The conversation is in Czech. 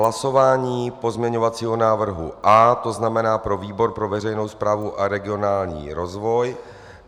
Hlasování pozměňovacího návrhu A, to znamená pro výbor pro veřejnou správu a regionální rozvoj.